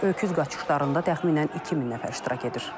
Öküz qaçışlarında təxminən 2000 nəfər iştirak edir.